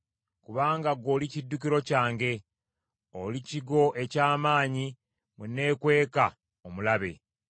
Kubanga gw’oli kiddukiro kyange. Oli kigo eky’amaanyi mwe neekweka omulabe.